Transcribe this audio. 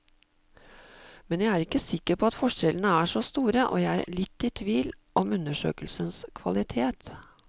Men jeg er er ikke sikker på at forskjellene er så store, og jeg er litt i tvil om undersøkelsens kvalitet.